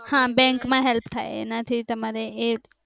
હા બેંકમાં help થાય એના થી તમારે